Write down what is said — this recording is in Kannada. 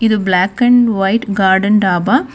ಇದು black and white garden dhaba .